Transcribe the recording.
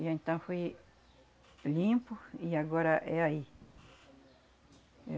E então foi limpo e agora é aí.